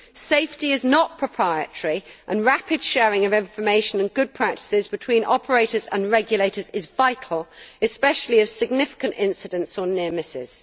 Safety is not proprietary, and rapid sharing of information and good practices between operators and regulators is vital, especially in the case of significant incidents or near misses.